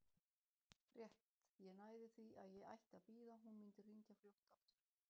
Rétt ég næði því að ég ætti að bíða, hún mundi hringja fljótt aftur.